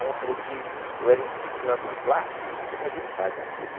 Ela falou que eu era indisciplinado na classe, que não o quê mas ele faz a ele